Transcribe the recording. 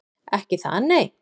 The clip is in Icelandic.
Ekki það, nei?